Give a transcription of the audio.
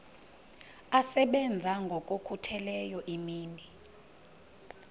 asebenza ngokokhutheleyo imini